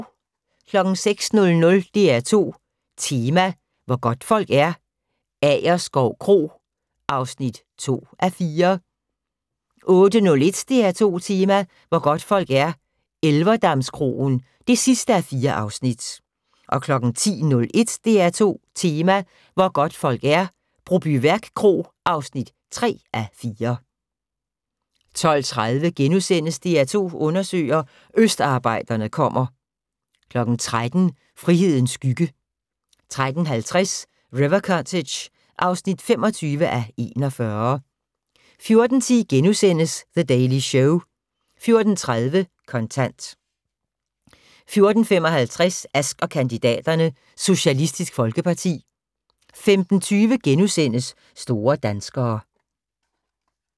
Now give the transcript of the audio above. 06:00: DR2 Tema: Hvor godtfolk er - Agerskov Kro (2:4) 08:01: DR2 Tema: Hvor godtfolk er - Elverdamskroen (4:4) 10:01: DR2 Tema: Hvor godtfolk er - Brobyværk Kro (3:4) 12:30: DR2 undersøger: Østarbejderne kommer * 13:00: Frihedens skygge 13:50: River Cottage (25:41) 14:10: The Daily Show * 14:30: Kontant 14:55: Ask & kandidaterne: Socialistisk Folkeparti 15:20: Store danskere *